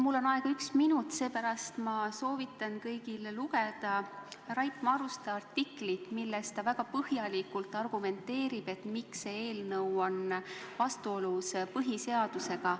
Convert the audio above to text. Mul on aega vaid üks minut ja seepärast soovitan kõigile lugeda Rait Maruste artiklit, milles ta väga põhjalikult argumenteerib, miks see eelnõu on vastuolus põhiseadusega.